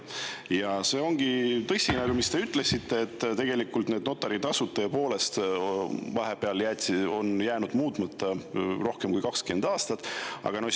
Ja see ongi tõsi, mis te ütlesite, et tegelikult notaritasud tõepoolest on jäänud muutmata rohkem kui 20 aasta jooksul.